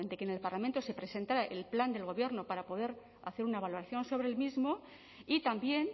que en el parlamento presentara el plan del gobierno para poder hacer una valoración sobre el mismo y también